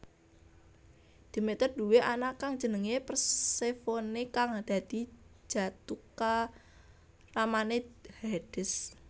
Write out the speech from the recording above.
Demeter duwé anak kang jenenge Persefone kang dadi jathukramane Hades